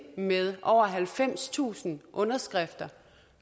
med over halvfemstusind underskrifter